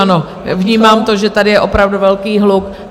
Ano, vnímám to, že tady je opravdu velký hluk.